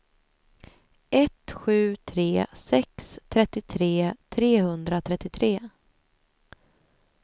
ett sju tre sex trettiotre trehundratrettiotre